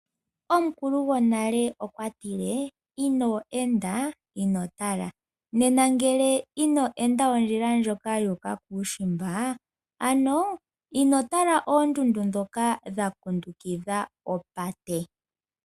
Omukulu gwonale okwa tile ino enda ino tala. Ngele ino enda ondjila ndjoka yuuka kuushimba ino tala oondundu ndhoka dha kundukidha opate.